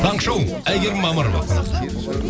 таңғы шоу әйгерім мамырова қонақта